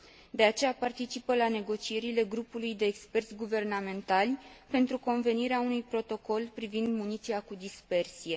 De aceea, participă la negocierile grupului de experți guvernamentali pentru convenirea unui protocol privind muniția cu dispersie.